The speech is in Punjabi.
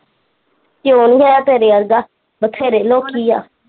ਕਿਓ ਨੀ ਆ ਤੇਰੇ ਵਰਗਾ ਬਥੇਰੇ ਲੋਕੀ ਆ।